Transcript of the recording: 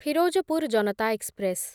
Firozpur Janata express